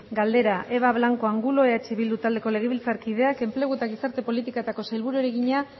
galdera eva blanco de angulo eh bildu taldeko legebiltzarkideak enplegu eta gizarte politiketako sailburuari egina